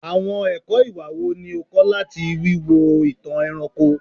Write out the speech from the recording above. Awọn ẹkọ iwa wo ni o kọ lati wiwo itan ẹranko?